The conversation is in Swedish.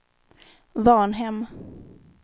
Varnhem